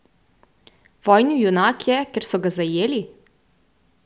Vojni junak je, ker so ga zajeli?